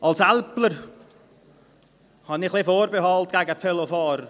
Als Älpler habe ich etwas Vorbehalte gegen die Velofahrer.